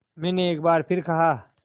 मैंने एक बार फिर कहा